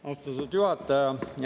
Austatud juhataja!